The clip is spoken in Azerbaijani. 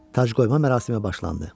Tacqoyma mərasimi başlandı.